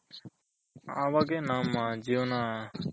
ಅವಗೆ ನಮ್ಮ ಜೀವನ